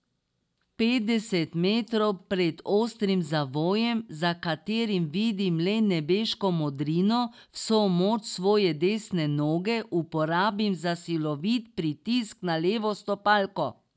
Petdeset metrov pred ostrim zavojem, za katerim vidim le nebeško modrino, vso moč svoje desne noge uporabim za silovit pritisk na levo stopalko.